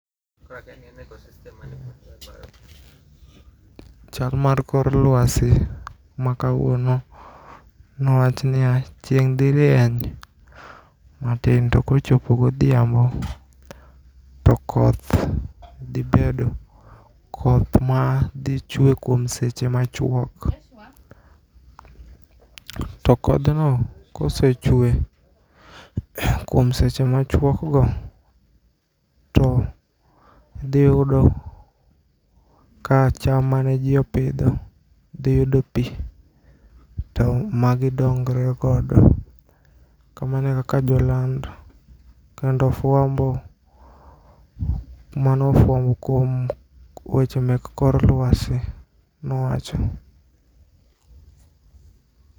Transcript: Chal mar kor luasi makawuono nowachnia, chieng' dhi rieny matin to kochopo godhiambo to koth dhibedo .Koth ma dhi chue kuom seche machuok. To kodhno kosechue kuom seche machuokgo to dhiyudo ka cham maneji opidho dhiyudo pii to magidongre godo kamano e kaka joland kendo fwambo manofwambo kuomweche mek kor luasi nowacho.